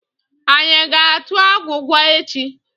Anyị ga-atụ agwụgwa echi?